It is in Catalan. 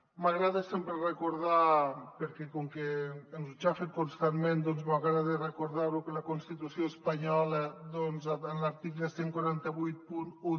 m’agrada sempre recordar perquè com que ens ho aixafen constantment doncs m’agrada recordar ho que la constitució espanyola en l’article catorze vuitanta u